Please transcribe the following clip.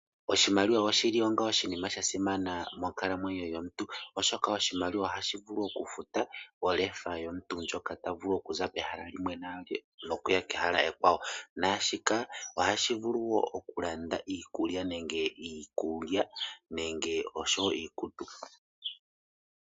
Oshimaliwa oshili onga oshinima shasimana monkalamwenyo yomuntu, oshoka oshimaliwa ohashi vulu okufuta olefa yomuntu ndjoka tavulu okuza pehala limwe nokuya kehala limwe ekwawo, naashika ohashi vulu wo okulanda iikulya nenge osho wo iikutu.